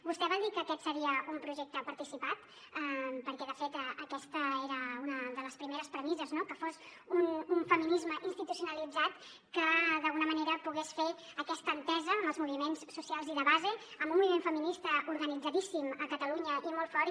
vostè va dir que aquest seria un projecte participat perquè de fet aquesta era una de les primeres premisses no que fos un feminisme institucionalitzat que d’alguna manera pogués fer aquesta entesa amb els moviments socials i de base amb un moviment feminista organitzadíssim a catalunya i molt fort